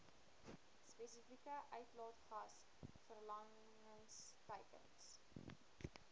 spesifieke uitlaatgas verlagingsteikens